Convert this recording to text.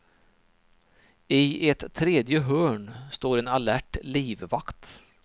I ett tredje hörn står en alert livvakt.